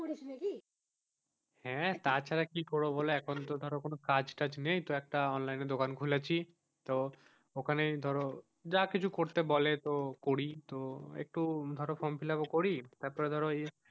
হ্যাঁ তাছাড়া কি করবো এখন তো ধরো কোনো কাজ টাজ নেই তাই অনলাইন এ দোকান খুলেছি তো ওখানেই ধরো যা কিছু করতে বলে তো করি তো একটু ফর্ম fill up তারপর ধরো এই.